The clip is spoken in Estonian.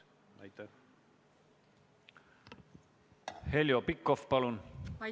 Heljo Pikhof, palun!